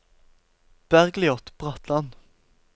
Bergljot Bratland